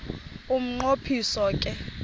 umnqo phiso ke